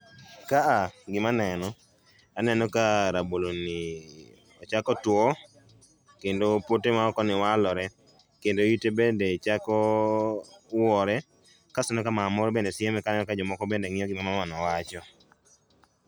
Ka a gima aneno, aneno ka raboloni ochako tuo kendo pote maokoni walore kendo ite bende chako wuore kendo aneno ka mama moro bende sieme kanyo ka jomoko bende ng'iyo gima mamano wacho.